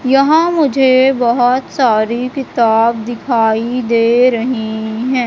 यहां मुझे बहुत सारी किताब दिखाई दे रही हैं।